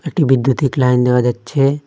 একটি বিদ্যুতিক লাইন দেখা যাচ্ছে।